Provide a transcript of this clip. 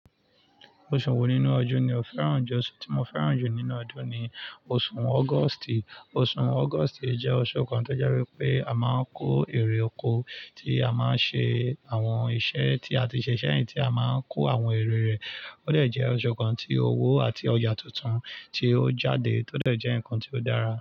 Oṣù wo nínú ọdún ni o fẹ́ràn jù? Oṣù tí mo fẹ́ràn jù nínú ọdún ni oṣù August. Oṣù August jẹ́ oṣù kan tó je wipé a máa ń kó èrè oko, tí a máa ń ṣe àwọn iṣẹ́ tí a ti ṣẹ̀ ṣẹ̀yiń tí a máa ń kó àwọn ère rẹ̀. Ó dẹ̀ jẹ́ oṣù kan tí owó àti ọjà tuntun ti ó jáde tó dẹ̀ jẹ́ nǹkan tí ó dára.